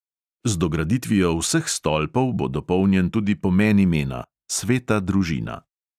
Z dograditvijo vseh stolpov bo dopolnjen tudi pomen imena – sveta družina.